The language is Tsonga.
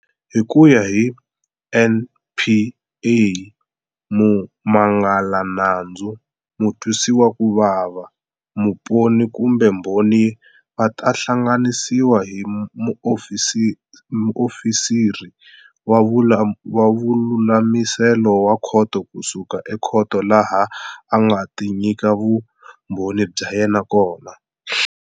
Hi ku ya hi NPA, mumangalanandzu, mutwisiwakuvava, muponi kumbe mbhoni va ta hlanganisiwa hi muofisiri wa vululamiselo wa khoto ku suka ekhoto laha a nga ta nyika vumbhoni bya yena kona.